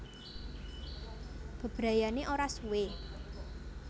Bebrayanané ora suwe